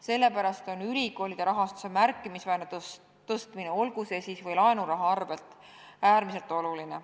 Sellepärast on ülikoolide rahastuse märkimisväärne suurendamine, olgu või laenuraha abil, äärmiselt oluline.